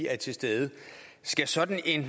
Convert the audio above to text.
er til stede skal sådan en